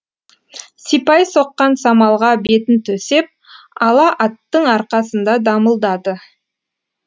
сипай соққан самалға бетін төсеп ала аттың арқасында дамылдады